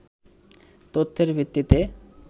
তথ্যের ভিত্তিতে